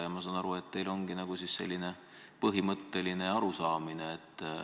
Ma saan aru, et teil ongi nagu selline põhimõtteline arusaam.